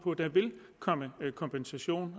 der vil komme kompensation